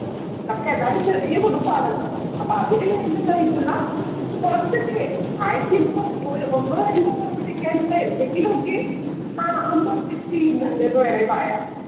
പക്ഷെ, എന്നാലും ചെറിയ കുടുംബമാണല്ലോ. അപ്പൊ അതിനു വേണ്ടതായിട്ടുള്ള കൊറച്ചൊക്കെ ആഴ്ചയിലിപ്പോ ഒന്നോ രണ്ടോ തവണ വയ്ക്കാനുള്ള എന്തെങ്കിലുമൊക്കെ ആഹ് അമ്മ കൃഷി ചെയ്യുന്നുണ്ട് എന്ന് വേണേ പറയാം.